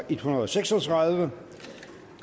en hundrede og seks og tredive